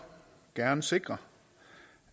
gerne sikre